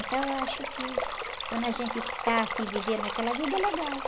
Então, eu acho que quando a gente está, assim, vivendo aquela vida, é legal.